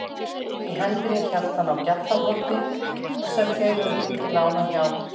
Í hendinni hélt hann á GJALLARHORNI sem þeir höfðu fengið lánað hjá